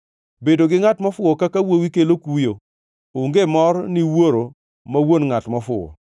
Bedo gi ngʼat mofuwo kaka wuowi kelo kuyo; onge mor ni wuoro ma wuon ngʼat mofuwo.